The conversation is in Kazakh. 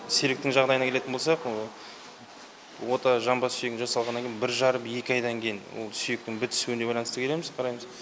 серіктің жағдайына келетін болсақ ота жамбас сүйегіне жасалғаннан кейін бір жарым екі айдан кейін ол сүйектің бітісуіне байланысты келеміз қараймыз